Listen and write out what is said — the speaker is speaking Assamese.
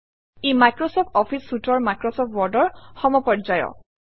E Microsoft office Suite or Microsoft Word or সমপৰ্যায়ৰ